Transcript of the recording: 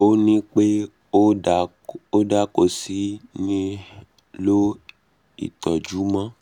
ó ní pé ó da kò sí nihlò ìtọ́jú mọ́